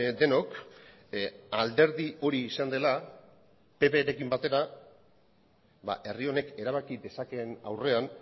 denok alderdi hori izan dela pprekin batera herri honek erabaki dezakeen aurrean